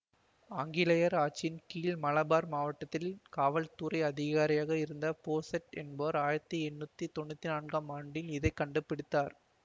ஆங்கிலேயர் ஆட்சியின் கீழ் மலபார் மாவட்டத்தின் காவல் துறை அதிகாரியாக இருந்த போசெட் என்பவர் ஆயிரத்தி எண்ணூத்தி தொன்னூத்தி நான்காம் ஆண்டில் இதை கண்டு பிடித்தார்